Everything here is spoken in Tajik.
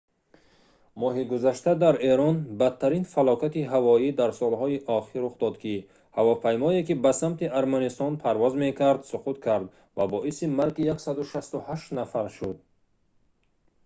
моҳи гузашта дар эрон бадтарин фалокати ҳавоӣ дар солҳои охир рух дод ки ҳавопаймое ки ба самти арманистон парвоз мекард суқут кард ва боиси марги 168 нафар шуд